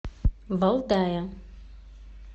валдая